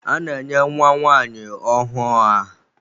A na-enye nwa nwanyi ọhụụ aha.